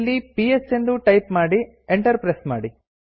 ಇಲ್ಲಿ ಪಿಎಸ್ ಎಂದು ಟೈಪ್ ಮಾಡಿ ಎಂಟರ್ ಪ್ರೆಸ್ ಮಾಡಿ